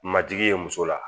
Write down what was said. Majigi ye muso la